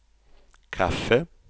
kaffe